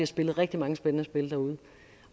spillet rigtig mange spændende spil derude